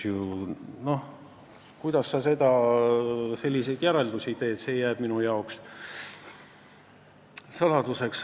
See, kuidas sa selliseid järeldusi teed, jääb minu jaoks saladuseks.